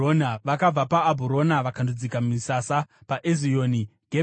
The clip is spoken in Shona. Vakabva paAbhurona vakandodzika misasa paEzioni Gebheri.